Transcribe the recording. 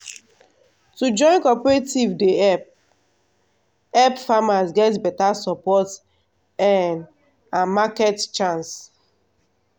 to join cooperative dey help help farmers get beta support um and market chance.